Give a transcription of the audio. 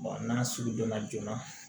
n'a sugu donna joona